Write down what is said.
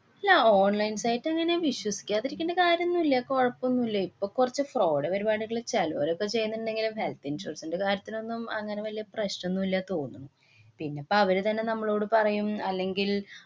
അല്ല, online site അങ്ങനെ വിശ്വസിക്കാതിരിക്കേണ്ട കാര്യൊന്നുല്ല. കൊഴപ്പൊന്നുല്ലേ. ഇപ്പൊ കൊറച്ചു fraud പരിപാടികള്‍ ചെലോരൊക്കെ ചെയ്യുന്നുണ്ടെങ്കിലും health insurance ന്‍റെ കാര്യത്തിലൊന്നും അങ്ങനെ വലിയ പ്രശ്ന്ല്ലന്ന് തോന്നുന്നു. പിന്നെ ഇപ്പ അവര് തന്നെ നമ്മളോട് പറയും. അല്ലെങ്കില്‍